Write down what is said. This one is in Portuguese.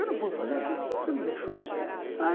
Eu não fui fazer aquilo, você não deixou.